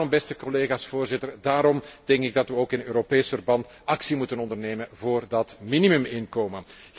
Daarom, beste collega's, Voorzitter, denk ik dat we ook in Europees verband actie moeten ondernemen voor dat minimuminkomen.